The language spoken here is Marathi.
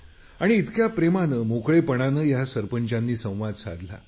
आणि इतक्या प्रेमाने मोकळेपणाने या सरपंचानी संवाद साधला